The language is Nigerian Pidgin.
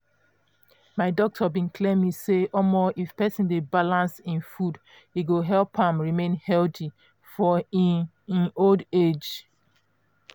my doctor bin clear me say um if persin dey balance hin food e go help am remain healthy for um hin hin old age.